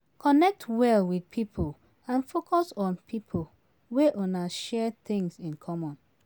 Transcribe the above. Connect well with pipo and focus on pipo wey una share things in common